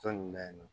Tɔ nunnu na yen nɔ